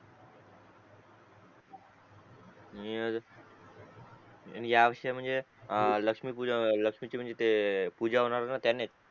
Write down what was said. नि या विषयी म्हणजे लक्ष्मी पूजन लक्ष्मी चे म्हणजे ते हे होणार रे पूजा होणारे नात्यानेच